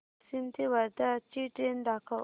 वाशिम ते वर्धा ची ट्रेन दाखव